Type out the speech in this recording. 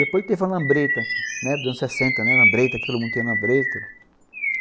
Depois teve a lambreta, né, anos sessenta, né, lambreta, todo mundo tinha lambreta.